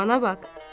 Bana bax!